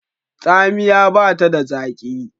Tsamiya bata da zaki.